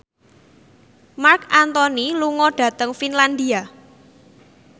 Marc Anthony lunga dhateng Finlandia